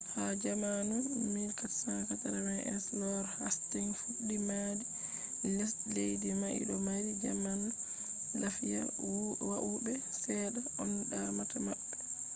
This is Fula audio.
ha jamanu 1480s,lord hasting fudde madi lesde mai do mari zaman lafiya woube sedda on damata mabbe